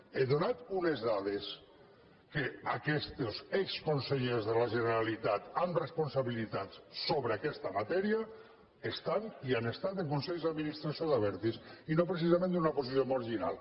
he donat unes dades que aquests exconsellers de la generalitat amb responsabilitats sobre aquesta matèria estan i han estat en consells d’administració d’abertis i no precisament en una posició marginal